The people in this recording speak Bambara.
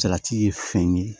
Salati ye fɛn ye